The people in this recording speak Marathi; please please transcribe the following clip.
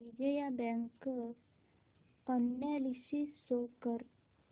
Vijaya bank share analysis show कर